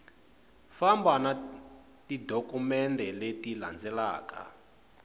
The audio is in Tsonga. famba na tidokumende leti landzaku